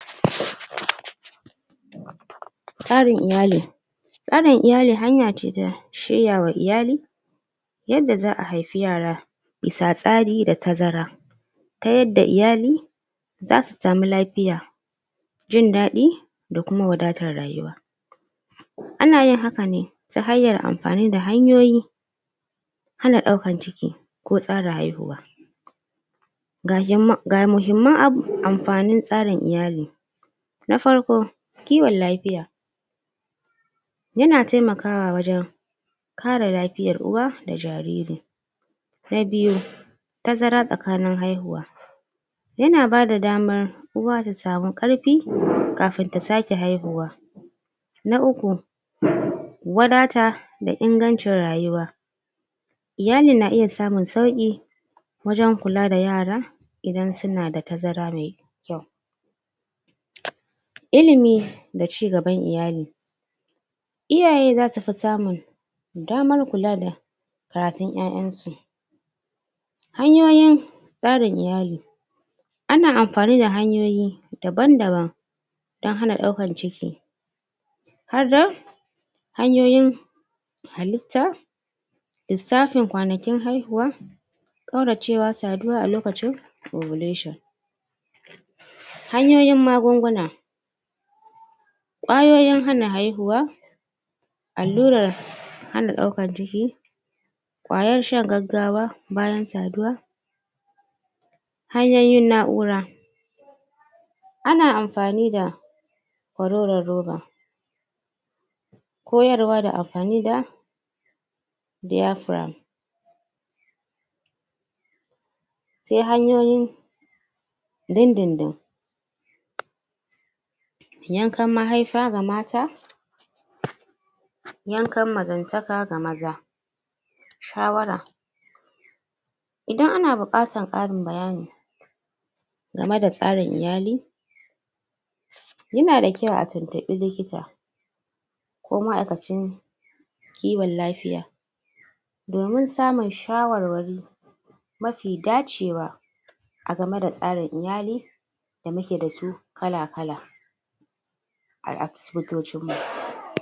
.... tsarin iyali tsarin iyali hanya ce ta shirya wa iyali yadda za'a haifi yara bisa tsari da tazara ta yadda iyali zasu sami lafiya jin daɗi da kuma wadatar rayuwa ana yin haka ne ta hanyar amfani da hanyoyi hana ɗaukan ciki ko tsara haihuwa ga himma ga muhimman ab amfanin tsarin iyali na farko kiwon lafiya ya na taimakawa wajen kare lafiyar uwa da jariri na biyu tazara tsakanin haihuwa ya na bada damar uwa ta samu ƙarfi kafin ta sake haihuwa na uku..... wadata da ingancin rayuwa iyalin na iya samun sauƙi wajen kula da yara idan suna da tazara mai kyau ilimi da cigaban iyali iyaye zasu fi samun damar kula da karatun 'ya 'yan su hanyoyin tsarin iyali ana amfani da hanyoyi daban daban dan hana ɗaukan ciki har da hanyoyin halitta lissafin kwanakin haihuwa ƙauracewa saduwa a lokacin ovulation hanyoyin magunguna ƙwayoyin hana haihuwa allurar hana ɗaukan ciki ƙwayar shan gaggawa bayan saduwa hanyoyin na'ura ana amfani da kwaroron roba koyarwa da amfani da diyafram sai hanyoyin din din din yankan mahaifa ga mata yankan mazantaka ga maza shawara idan ana buƙatan ƙarin bayani game da tsarin iyali ya na da kyau a tuntuɓi likita ko ma'aikacin kiwon lafiya domin samun shawarwari mafi dacewa a game da tsarin iyali da muke da su kala kala a asibitocinmu